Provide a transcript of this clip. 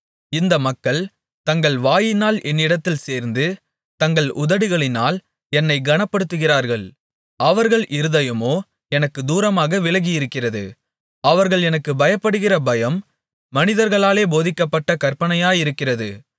இந்த மக்கள் தங்கள் வாயினால் என்னிடத்தில் சேர்ந்து தங்கள் உதடுகளினால் என்னைக் கனப்படுத்துகிறார்கள் அவர்கள் இருதயமோ எனக்குத் தூரமாக விலகியிருக்கிறது அவர்கள் எனக்குப் பயப்படுகிற பயம் மனிதர்களாலே போதிக்கப்பட்ட கற்பனையாயிருக்கிறது